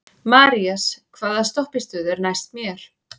Marías, hvaða stoppistöð er næst mér?